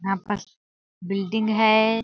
यहाँ पर बिल्डिंग है।